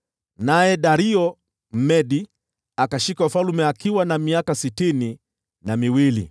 naye Dario Mmedi akashika ufalme akiwa na miaka sitini na miwili.